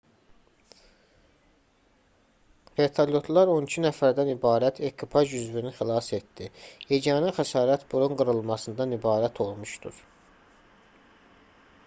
vertolyotlar on iki nəfərdən ibarət ekipaj üzvünü xilas etdi yeganə xəsarət burun qırılmasından ibarət olmuşdur